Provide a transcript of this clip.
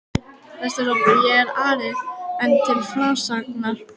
Vesturhópi, og er Ari enn til frásagnar